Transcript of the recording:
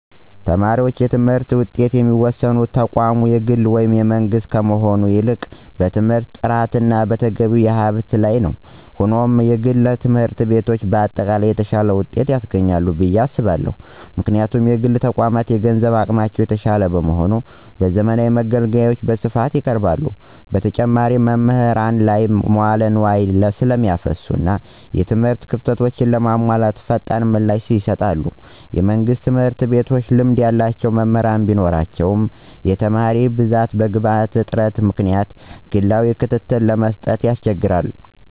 የተማሪዎች የትምህርት ውጤት የሚወሰነው ተቋሙ የግል ወይም የመንግሥት ከመሆን ይልቅ በትምህርቱ ጥራትና በተገቢው ሀብት ላይ ነው። ሆኖም፣ የግል ትምህርት ቤቶች በአጠቃላይ የተሻለ ውጤት ያስገኛሉ ብዬ አስባለሁ። ምክንያቱም: የግል ተቋማት የገንዘብ አቅማቸው የተሻለ በመሆኑ፣ ዘመናዊ መገልገያዎችን በስፋት ያቀርባሉ። በተጨማሪም፣ በመምህራን ላይ መዋለ ንዋይ ስለሚያፈሱና እና የትምህርት ክፍተቶችን ለመሙላት ፈጣን ምላሽ ይሰጣሉ። የመንግሥት ትምህርት ቤቶች ልምድ ያላቸው መምህራን ቢኖራቸውም፣ በትልቅ የተማሪ ብዛትና በግብዓት እጥረት ምክንያት ግላዊ ክትትልን ለመስጠት ይቸገራሉ።